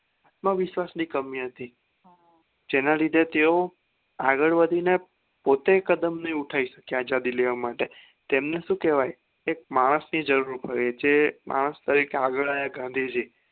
આત્મવિશ્વાસ ની કમી હતી જેના લીધે તેઓ આગળ વધીને પોતે કદમ નહિ ઉઠાય શકયા અજદી લેવા માટે તેમને શું કેવાય કે માણસ ની જરૂર ઉપર એ છે માણસ ટીકે આગળ આવ્યા ગાંધીજી